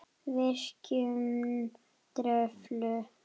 Virkjun Kröflu